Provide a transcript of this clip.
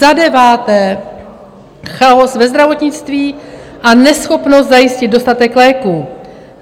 Za deváté, chaos ve zdravotnictví a neschopnost zajistit dostatek léků.